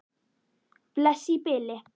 Bless í bili.